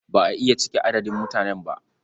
Ba a iya cike adadin mutanen ba.